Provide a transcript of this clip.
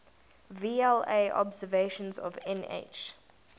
vla observations of nh